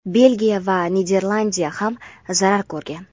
Belgiya va Niderlandiya ham zarar ko‘rgan.